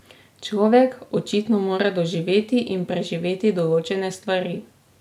Človek očitno mora doživeti in preživeti določene stvari.